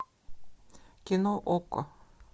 кино окко